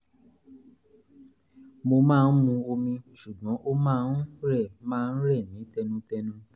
mo máa ń mu omi ṣùgbọ́n ó máa ń rẹ̀ máa ń rẹ̀ mí tẹnutẹnu